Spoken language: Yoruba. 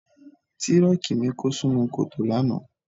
Tírọ́ọ̀kì mi kó sínú kòtò lánàá.